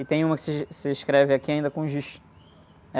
E tem uma que se, se escreve aqui ainda com giz.